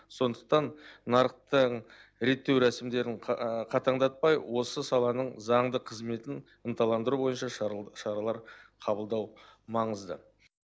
сондықтан нарықтың реттеу рәсімдерін қатаңдатпай осы саланың заңды қызметін ынталандыру бойынша шаралар қабылдау маңызды